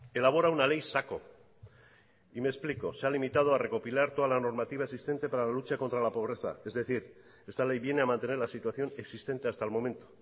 elabora una ley saco y me explico se ha limitado a recopilar toda la normativa existente para la lucha contra la pobreza es decir esta ley viene a mantener la situación existente hasta el momento